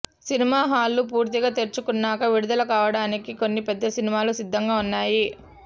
cinema హాళ్లు పూర్తిగా తెరుచుకున్నాక విడుదలకావడానికి కొన్ని పెద్ద సినిమాలు సిద్దంగా ఉన్నాయి